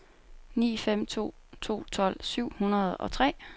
ni fem to to tolv syv hundrede og tre